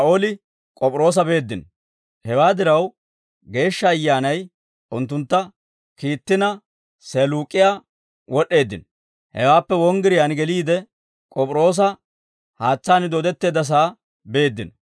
Hewaa diraw, Geeshsha Ayyaanay unttuntta kiittina, Seeluuk'iyaa wod'd'eeddino; hewaappe wonggiriyaan geliide, K'op'iroosa haatsaani dooddetteeddasaa beeddino.